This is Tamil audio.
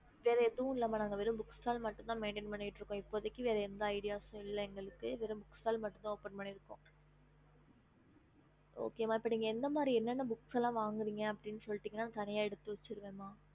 ஹம்